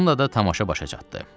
Bununla da tamaşa başa çatdı.